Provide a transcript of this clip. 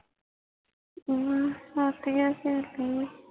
ਅਹ ਸੱਥ ਕਿ ਸਹੇਲੀ